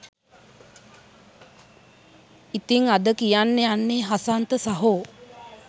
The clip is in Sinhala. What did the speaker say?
ඉතින් අද කියන්න යන්නේ හසන්ත සහෝ